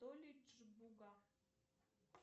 толидж буга